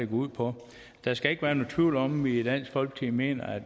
ud på der skal ikke være nogen tvivl om at vi i dansk folkeparti mener at